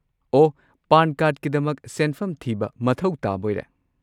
ꯑꯣꯍ, ꯄꯥꯟ ꯀꯥꯔꯗꯀꯤꯗꯃꯛ ꯁꯦꯟꯐꯝ ꯊꯤꯕ ꯃꯊꯧ ꯇꯥꯕꯣꯏꯔꯦ?